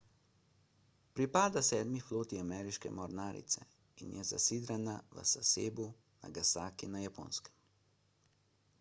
pripada sedmi floti ameriške mornarice in je zasidrana v sasebu nagasaki na japonskem